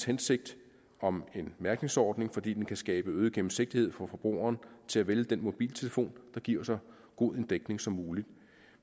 hensigt om en mærkningsordning fordi den kan skabe øget gennemsigtighed for forbrugeren til at vælge den mobiltelefon der giver så god en dækning som muligt